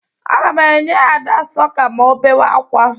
Aga m enye Ada sọka ma ọ bewe ákwá.